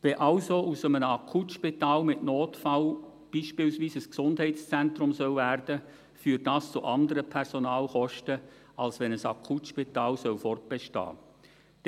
Wenn also aus einem Akutspital mit Notfall beispielsweise ein Gesundheitszentrum werden soll, führt dies zu anderen Personalkosten, als wenn ein Akutspital fortbestehen soll.